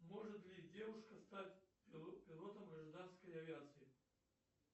может ли девушка стать пилотом гражданской авиации